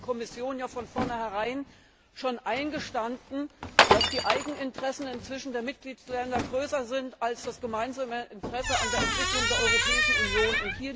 Damit hat die Kommission ja von vorneherein schon eingestanden, dass die Eigeninteressen der Mitgliedstaaten inzwischen größer sind als das gemeinsame Interesse an der Entwicklung der Europäischen Union.